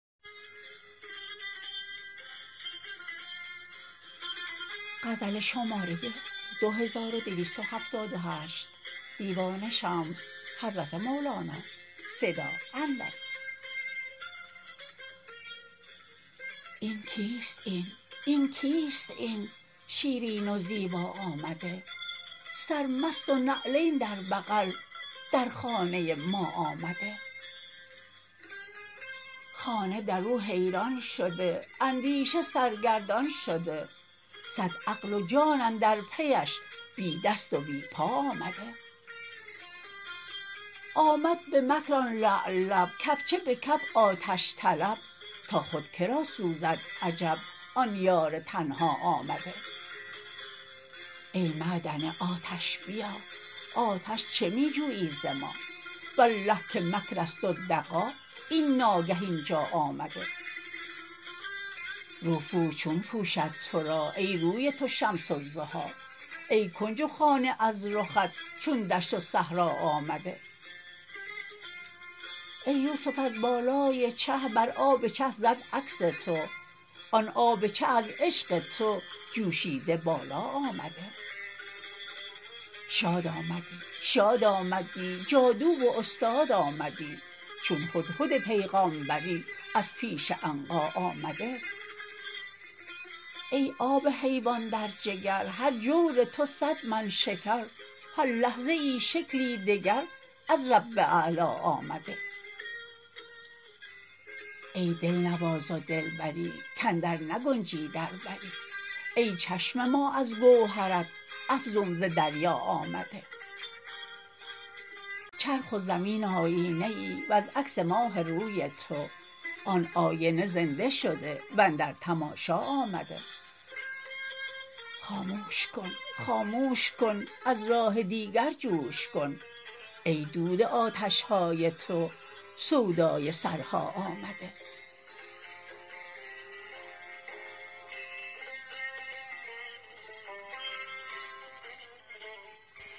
این کیست این این کیست این شیرین و زیبا آمده سرمست و نعلین در بغل در خانه ما آمده خانه در او حیران شده اندیشه سرگردان شده صد عقل و جان اندر پیش بی دست و بی پا آمده آمد به مکر آن لعل لب کفچه به کف آتش طلب تا خود که را سوزد عجب آن یار تنها آمده ای معدن آتش بیا آتش چه می جویی ز ما والله که مکر است و دغا ای ناگه این جا آمده روپوش چون پوشد تو را ای روی تو شمس الضحی ای کنج و خانه از رخت چون دشت و صحرا آمده ای یوسف از بالای چه بر آب چه زد عکس تو آن آب چه از عشق تو جوشیده بالا آمده شاد آمدی شاد آمدی جادو و استاد آمدی چون هدهد پیغامبری از پیش عنقا آمده ای آب حیوان در جگر هر جور تو صد من شکر هر لحظه ای شکلی دگر از رب اعلا آمده ای دلنواز و دلبری کاندر نگنجی در بری ای چشم ما از گوهرت افزون ز دریا آمده چرخ و زمین آیینه ای وز عکس ماه روی تو آن آینه زنده شده و اندر تماشا آمده خاموش کن خاموش کن از راه دیگر جوش کن ای دود آتش های تو سودای سرها آمده